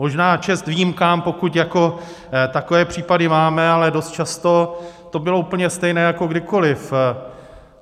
Možná čest výjimkám, pokud jako takové případy máme, ale dost často to bylo úplně stejné jako kdykoliv.